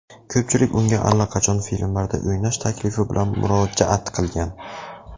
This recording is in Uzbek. Ko‘pchilik unga allaqachon filmlarda o‘ynash taklifi bilan murojaat qilgan.